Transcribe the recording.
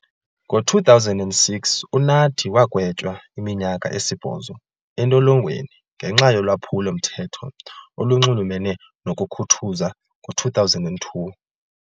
Ngo-2006, uNathi wagwetywa iminyaka esibhozo entolongweni ngenxa yolwaphulo-mthetho olunxulumene nokukhuthuza ngo-2002.